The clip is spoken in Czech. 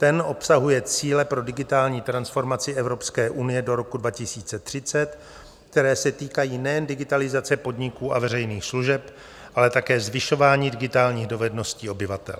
Ten obsahuje cíle pro digitální transformaci Evropské unie do roku 2030, které se týkají nejen digitalizace podniků a veřejných služeb, ale také zvyšování digitálních dovedností obyvatel.